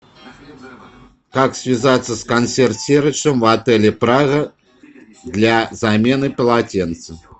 как связаться с консьерж сервисом в отеле прага для замены полотенца